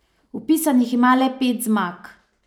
Vpisanih ima le pet zmag.